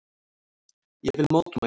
Ég vil mótmæla.